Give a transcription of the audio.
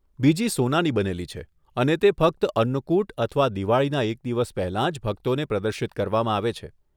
બીજી સોનાની બનેલી છે અને તે ફક્ત અન્નકૂટ અથવા દિવાળીના એક દિવસ પહેલા જ ભક્તોને પ્રદર્શિત કરવામાં આવે છે.